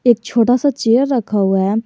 एक छोटा सा चेयर रखा हुआ है।